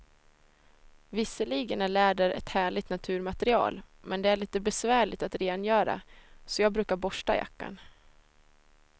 Visserligen är läder ett härligt naturmaterial, men det är lite besvärligt att rengöra, så jag brukar borsta jackan.